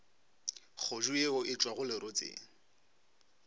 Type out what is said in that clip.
kgodu yeo e tšwago lerotseng